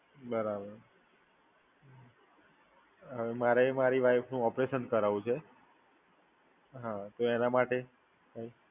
બરાબર, મારે મારી વાઈફનું ઓપરેશન કરાવવું છે. હા, તો એના માટે?